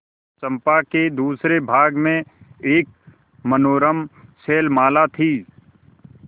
चंपा के दूसरे भाग में एक मनोरम शैलमाला थी